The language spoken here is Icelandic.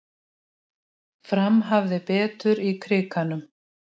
Fram hafði betur í Krikanum